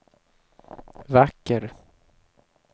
vacker